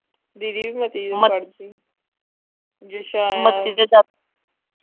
ਦੀਦੀ ਵੀ ਮਤੀ ਮਤੀ ਦੇ।